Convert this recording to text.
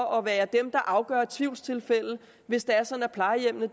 og er dem der afgør tvivlstilfælde hvis det er sådan at plejehjemmene